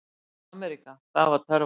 AMERÍKA það var töfraorðið.